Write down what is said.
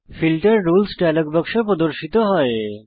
filter rules dialog বাক্স প্রদর্শিত হয়